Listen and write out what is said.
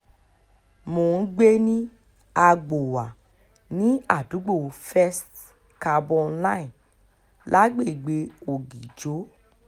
mo ń gbé ní agbowà ní àdúgbò first carbonline lágbègbè ọ̀gíjọ́